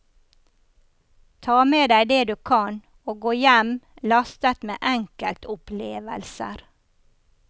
Ta med deg det du kan og gå hjem lastet med enkeltopplevelser.